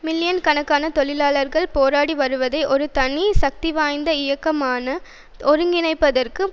million கணக்கான தொழிலாளர்கள் போராடி வருவதை ஒரு தனி சக்திவாய்ந்த இயக்கமாக ஒருங்கிணைப்பதற்கு